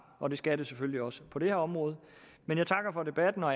og det skal det selvfølgelig også på det her område men jeg takker for debatten og